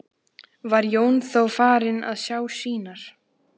Var Jón þá farinn að sjá sýnir.